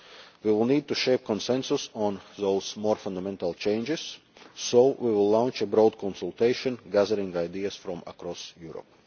report. We will need to shape consensus on those more fundamental changes, so we will launch a broad consultation gathering ideas from across